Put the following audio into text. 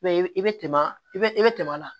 i bɛ tɛmɛ i bɛ i bɛ tɛmɛ a la